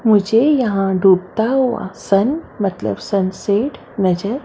मुझे यहा डूबता हुआ सन मतलब सनसेट नजर --